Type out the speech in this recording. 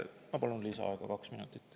Ma palun lisaaega kaks minutit.